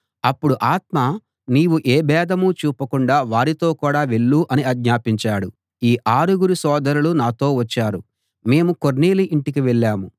అప్పుడు ఆత్మ నీవు ఏ భేదం చూపకుండా వారితో కూడా వెళ్ళు అని ఆజ్ఞాపించాడు ఈ ఆరుగురు సోదరులు నాతో వచ్చారు మేము కొర్నేలి ఇంటికి వెళ్ళాం